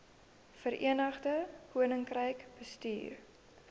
verenigde koninkryk bestuur